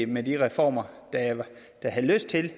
med de reformer der havde lyst til